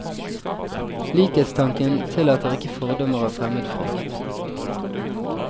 Likhetstanken tillater ikke fordommer og fremmedfrykt.